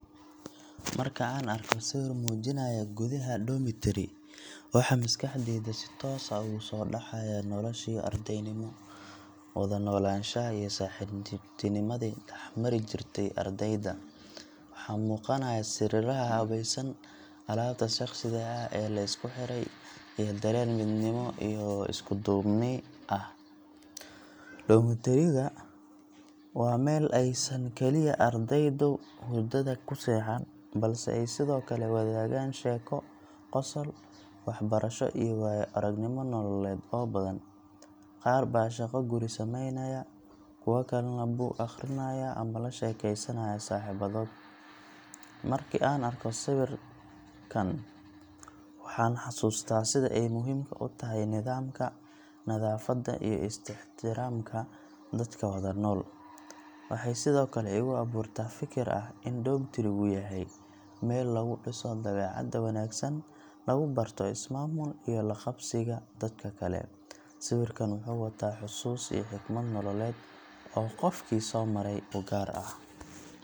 Marka aan arko sawir muujinaya gudaha dormitory, waxa maskaxdayda si toos ah ugu soo dhacaya noloshii ardaynimo, wada noolaanshaha, iyo saaxiibtinimadii dhex mari jirtay ardayda. Waxaa muuqanaya sariiraha habaysan, alaabta shakhsiga ah ee la isku xeeray, iyo dareen midnimo iyo isku duubni ah. Dormitory ga waa meel aysan kaliya ardaydu hurdada ku seexan, balse ay sidoo kale wadaagaan sheeko, qosol, waxbarasho iyo waayo-aragnimo nololeed oo badan. Qaar baa shaqo guri samaynaya, kuwa kalena buug akhrinaya ama la sheekeysanaya saaxiibadood. Marka aan sawirkan arko, waxaan xasuustaa sida ay muhiimka u tahay nidaamka, nadaafadda, iyo is-ixtiraamka dadka wada nool. Waxay sidoo kale igu abuurtaa fikir ah in dormitory-gu yahay meel lagu dhiso dabeecad wanaagsan, lagu barto is-maamul iyo la qabsiga dadka kale. Sawirkan wuxuu wataa xusuus iyo xikmad nololeed oo qofkii soo maray u gaar ah.